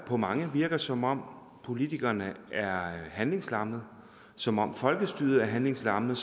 på mange virker som om politikerne er handlingslammede som om folkestyret er handlingslammet